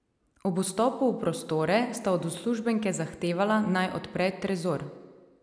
Ob vstopu v prostore sta od uslužbenke zahtevala, naj odpre trezor.